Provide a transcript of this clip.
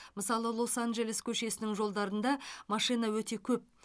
мысалы лос анджелес көшесінің жолдарында машина өте көп